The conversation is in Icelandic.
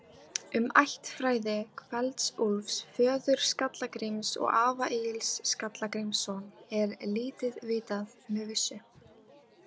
Um ættfræði Kveld-Úlfs, föður Skalla-Gríms og afa Egils Skalla-Grímssonar, er lítið vitað með vissu.